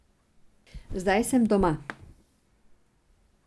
Zdaj sem doma.